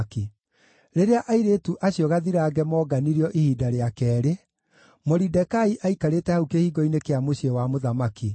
Rĩrĩa airĩtu acio gathirange moonganirio ihinda rĩa keerĩ, Moridekai aikarĩte hau kĩhingo-inĩ kĩa mũciĩ wa mũthamaki.